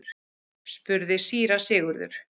spurði síra Sigurður.